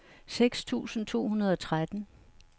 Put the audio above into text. seks tusind to hundrede og tretten